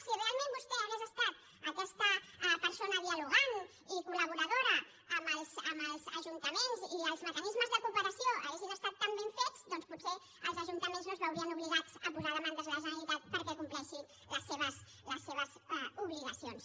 si realment vostè hagués estat aquesta persona dialogant i col·laboradora amb els ajuntaments i els mecanismes de cooperació haguessin estat tan ben fets doncs potser els ajuntaments no es veurien obligats a posar demandes a la generalitat perquè compleixi les seves obligacions